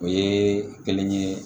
O ye kelen ye